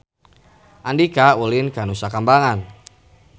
Andika ulin ka Nusa Kambangan